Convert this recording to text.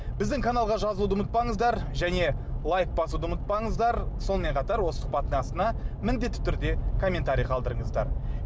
біздің каналға жазылуды ұмытпаңыздар және лайк басуды ұмытпаңыздар сонымен қатар осы сұхбаттың астына міндетті түрде комментарий қалдырыңыздар